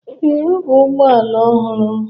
Ee, ọ bụ ụgbọ ala ọhụrụ m.